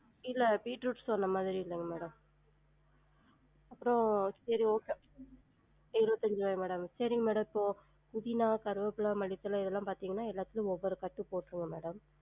இல்ல பீட்ரூட் சொன்ன மாதிரி இல்லங்க madam அப்றம் இருவத்தஞ்சா madam சரிங்க madam இப்போ புதினா, கருவேப்பில, மல்லித்தள இதெல்லாம் பாத்தீங்கன்னா எல்லாத்துலையும் ஒவ்வொரு கட்டு போற்றுங்க madam